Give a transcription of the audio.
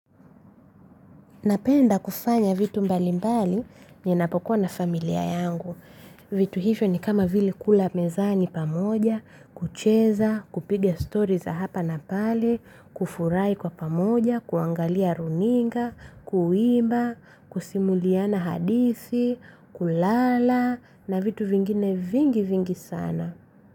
Napenda kufanya vitu mbali mbali ninapokuwa na familia yangu. Vitu hivyo ni kama vile kula pamoja mezani kucheza kupiga story za hapa na pale kufurahi kwa pamoja kuangalia runinga, kuimba, kusimuliana hadithi kulala na vitu vingine vingi vingi sana.